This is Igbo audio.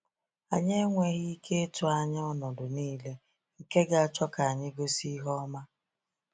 Anyị enweghị ike ịtụ anya ọnọdụ niile nke ga-achọ ka anyị gosi ihe ọma.